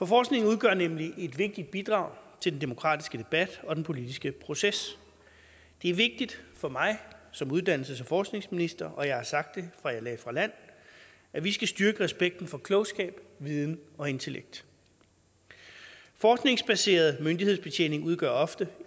forskning udgør nemlig et vigtigt bidrag til den demokratiske debat og den politiske proces det er vigtigt for mig som uddannelses og forskningsminister og jeg har sagt det fra jeg lagde fra land at vi skal styrke respekten for klogskab viden og intellekt forskningsbaseret myndighedsbetjening udgør ofte